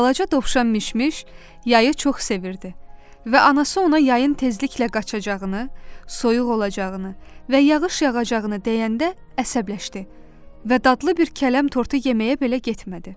Balaca dovşan Mişmiş yayı çox sevirdi və anası ona yayın tezliklə qaçacağını, soyuq olacağını və yağış yağacağını deyəndə əsəbləşdi və dadlı bir kələm tortu yeməyə belə getmədi.